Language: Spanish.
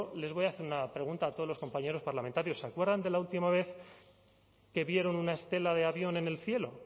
les voy a hacer una pregunta a todos los compañeros parlamentarios se acuerdan de la última vez que vieron una estela de avión en el cielo